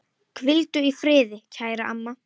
Hvíldu í friði, kæra amma.